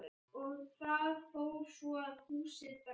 Og það fór svo að húsið brann.